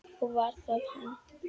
Og var það hann?